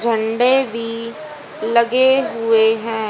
झंडे भी लगे हुए हैं।